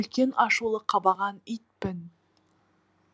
үлкен ашулы қабаған итпін